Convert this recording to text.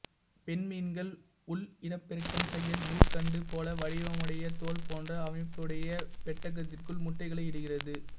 பெண்மீன்கள் உள்இனப்பெருக்கம் செய்ய நூற்கண்டு போல வடிவமுடைய தோல் போன்ற அமைப்புடையப் பெட்டகத்திற்குள் முட்டைகளை இடுகிறது